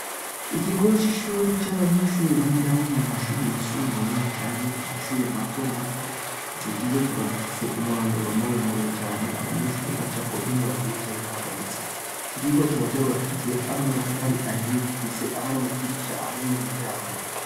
Ikigo c'ishuri c'abanyeshuri bigamwo mu mashuri yisumbuye canke mu mashuri matomato ico kigo kikaba gifise umurombero muremure cane abanyeshuri bacako iyo bagiye canke bagarutse ico kigo kikaba carubakishijwe hamwe n'amatafari ahiye gifise hamwe n'amadirisha hamwe n'imiryango.